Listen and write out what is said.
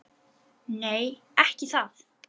Nei, ekki það!